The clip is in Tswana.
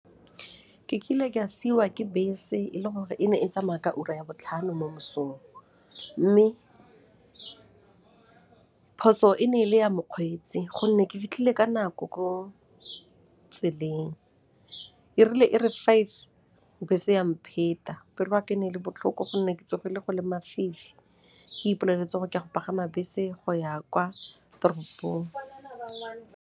Ke kile ka siiwa ke bese e le gore e ne e tsamaya ka ura ya botlhano mo mosong mme phoso e ne e le ya mokgweetsi gonne ke fitlhile ka nako ko tseleng. Erile e re five, bese ya mpheta. Pelo 'aka e ne e le botlhoko gonne ke tsogile go le mafifi, ke ipoleletse gore ke a go pagama bese go ya kwa toropong.